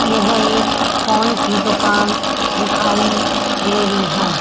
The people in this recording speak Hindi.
यह एक फोन की दुकान दिखाई दे रही है।